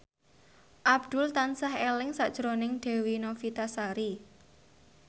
Abdul tansah eling sakjroning Dewi Novitasari